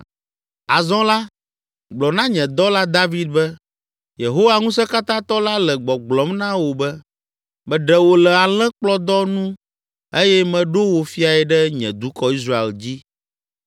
“Azɔ la, gblɔ na nye dɔla David be, ‘Yehowa Ŋusẽkatãtɔ la le gbɔgblɔm na wò be; meɖe wò le alẽkplɔdɔ nu eye meɖo wò fiae ɖe nye dukɔ Israel dzi.